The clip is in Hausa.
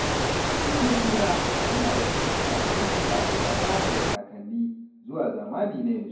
Bikin suna yana daga cikin al’adun da aka gada daga kakanni zuwa zamani na yanzu.